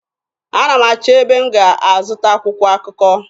Ana m achọ ebe m ga-azụta akwụkwọ akụkọ.